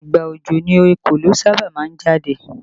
Ìgbà òjò ni ekòló sábà máa ń jáde